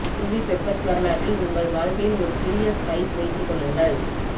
chilli peppers வரலாற்றில் உங்கள் வாழ்க்கையில் ஒரு சிறிய ஸ்பைஸ் வைத்துக் கொள்ளுங்கள்